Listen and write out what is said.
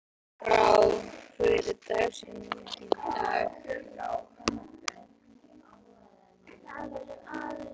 Járnbrá, hver er dagsetningin í dag?